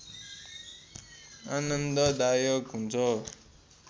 आनन्द दायक हुन्छ